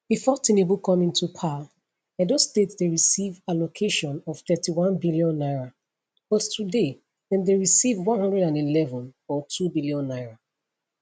bifor tinubu come into power edo state dey receive allocation of 31 billion naira but today dem dey receive 111 or 2 billion naira